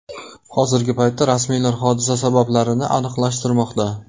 Hozirgi paytda rasmiylar hodisa sabablarini aniqlashtirmoqda.